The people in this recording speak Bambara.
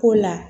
Ko la